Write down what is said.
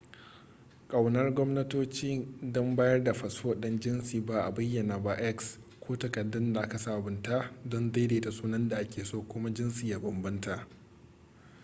kaunar gwamnatoci don bayar da fasfo ɗin da jinsi ba a bayyana ba x ko takaddun da aka sabunta don daidaita sunan da ake so kuma jinsi ya bambanta